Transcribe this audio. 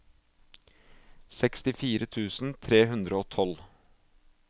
sekstifire tusen tre hundre og tolv